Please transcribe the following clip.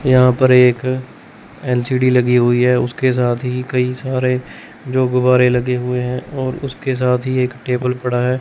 यहां पर एक एल_सी_डी लगी हुई है उसके साथ ही कई सारे जो गुब्बारे लगे हुए हैं और उसके साथ ही एक टेबल पड़ा है।